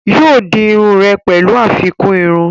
yóò di iru rẹ̀ pẹ̀lú àfikún irun